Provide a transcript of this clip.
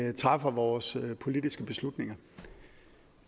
vi træffer vores politiske beslutninger